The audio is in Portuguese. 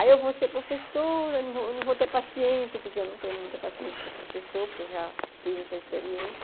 Aí eu vou ser professora, não vou não vou ter paciência, porque eu não tenho muita paciência para professor, porque eu já fiz essa experiência.